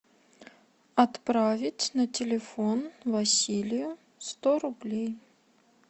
отправить на телефон василию сто рублей